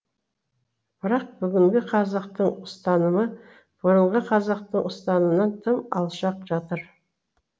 бірақ бүгінгі қазақтың ұстанымы бұрынғы қазақтың ұстанымынан тым алшақ жатыр